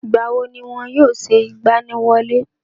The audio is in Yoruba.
ìgbà wo ni wọn yóò ṣe ìgbaniwọlé